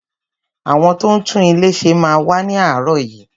Àwọn tó ń tún ilé ṣe máa wá ni aarọ yìí.